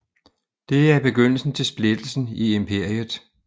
Det er begyndelsen til splittelsen i imperiet